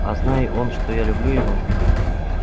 а знай он что я люблю его